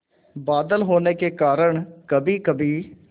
बादल होने के कारण कभीकभी